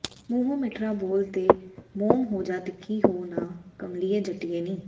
ਮੂੰਹੋਂ ਮਿਠੜਾ ਬੋਲ ਤੇ ਮੋਮ ਹੋਜਾ ਤਿੱਖੀ ਹੋ ਨਾ ਕਮਲੀਏ ਜੱਟੀਏ ਨੀ